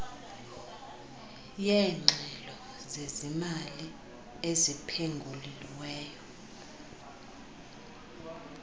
yeengxelo zezimali eziphengululiweyo